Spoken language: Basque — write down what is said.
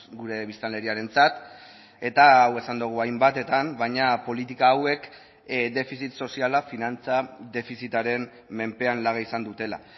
gure biztanleriarentzat eta hau esan dugu hainbatetan baina politika hauek defizit soziala finantza defizitaren menpean laga izan dutela